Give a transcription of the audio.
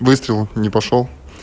выстрел не пошёл